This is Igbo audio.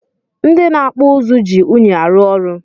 Ndi na akpụ ụzụ ji unyi arụ ọrụ.